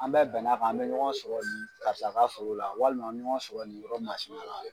An bɛ bɛnna kan an bɛ ɲɔgɔn sɔrɔ karisa ka foro la walima an bɛ ɲɔgɔn sɔrɔ nin yɔrɔ masina la.